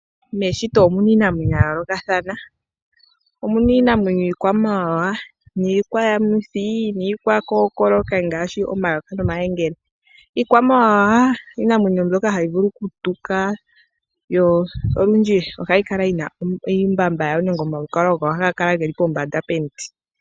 Meshito omu na iinamwenyo ya yoolokathana. Omu na iinamwenyo iikwamawawa, iikwayamuthi niikwakookoloki ngaashi omayoka nomayengele. Iikwamawawa iinamwenyo mbyoka hayi vulu okutuka yo olundji ohayi kala yi na iihandhila nenge omalukalwa gayo ohaga kala ge li pombanda yomiti.